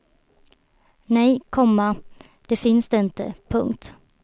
Nej, komma det finns det inte. punkt